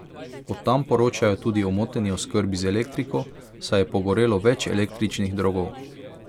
Od tam poročajo tudi o moteni oskrbi z elektriko, saj je pogorelo več električnih drogov.